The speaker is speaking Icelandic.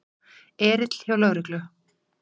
Erill hjá lögreglu